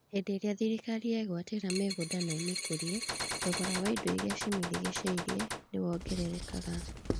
Hĩndĩ ĩrĩa thirikari yegwatĩra mĩgũnda na ĩmĩkũrie, thogora wa indo iria cimĩrigicĩirie nĩwongererekaga